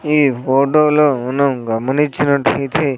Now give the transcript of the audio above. ఈ ఫోటో లోను గమనిచ్చినట్లయితే--